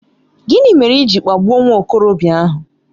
Gịnị mere i ji kpagbuo nwa okorobịa ahụ?